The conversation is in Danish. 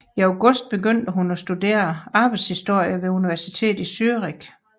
I august begyndte hun at studere arbejderhistorie ved universitetet i Zürich